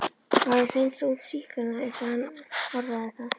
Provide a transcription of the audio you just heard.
Var að hreinsa út sýklana eins og hann orðaði það.